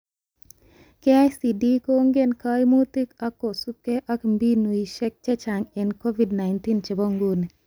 KICD kongeni kaimutit ak kosubke ak mbinuishek chechang eng Covid-19 chebo nguni